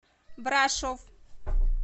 брашов